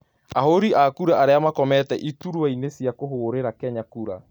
Ahũri a kura aria makomĩte iturũaini cia kũhũrera kura Kenya